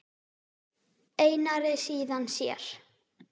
Einari, síðan sér.